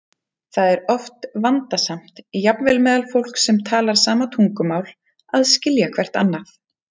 Það er oft vandasamt, jafnvel meðal fólks sem talar sama tungumál, að skilja hvert annað.